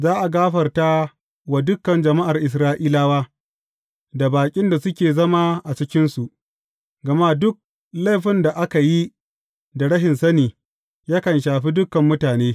Za a gafarta wa dukan jama’ar Isra’ilawa, da baƙin da suke zama a cikinsu, gama duk laifin da aka yi da rashin sani, yakan shafi dukan mutane.